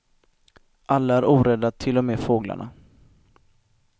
Alla är orädda, till och med fåglarna.